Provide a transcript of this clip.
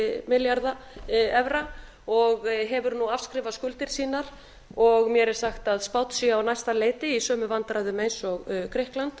milljarða evra og hefur nú afskrifað skuldir sínar og mér er sagt að spánn sé á næsta leiti í sömu vandræðum og grikkland